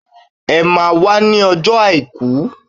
Emá a wá ní ọjọ́ àìkú!